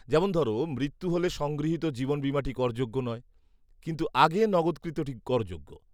যেমন ধরো, মৃত্যু হলে সংগৃহীত জীবন বীমাটি করযোগ্য নয়, কিন্তু আগে নগদকৃতটি করযোগ্য।